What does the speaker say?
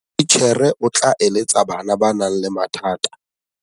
Titjhere o tla eletsa bana ba nang le mathata.